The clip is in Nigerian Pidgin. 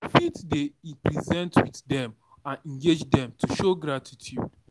You fit dey present with them and engage them to show gratitude